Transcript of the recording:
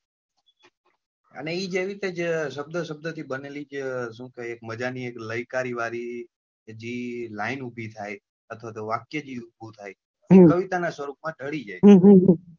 અને જેવી રીતે જ શબ્દ શબ્દ થી જે શું છે એક લયકારી વળી line ઉભી થાય અથવા તો જે વાક્ય ઉભું થા કવિતા ના સ્વરૂપ માં ઢાળી જાય